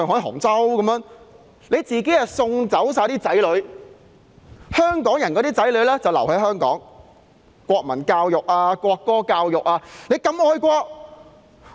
他們把自己的子女都送走了，但香港人的子女卻要留在香港接受國民教育和國歌教育。